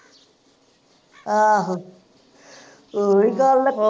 ਆਹੋ ਓਹਈ ਗੱਲ ਐ